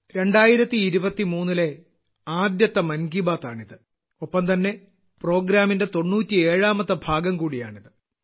2023ലെ ആദ്യത്തെ മൻ കി ബാത് ആണിത് ഒപ്പംതന്നെ പ്രോഗ്രാമിന്റെ തൊണ്ണൂറ്റി ഏഴാമത്തെ ഭാഗം കൂടിയാണിത്